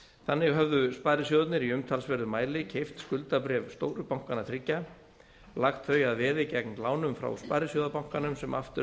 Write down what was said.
þannig höfðu sparisjóðirnir í umtalsverðum mæli keypt skuldabréf stóru bankanna þriggja lagt þau að veði gegn lánum frá sparisjóðabankanum sem aftur